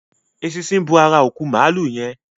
Eṣinṣin bò àrà òkú Maalu yén.